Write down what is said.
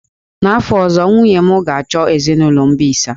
N'afọ ọzọ, nwunye m ga-achọ ezinụlọ mbisa.